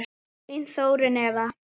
Þín Þórunn Eva.